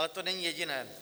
Ale to není jediné.